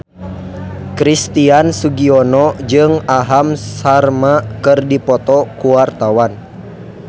Christian Sugiono jeung Aham Sharma keur dipoto ku wartawan